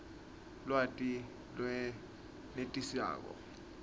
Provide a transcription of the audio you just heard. lwati lolwenetisako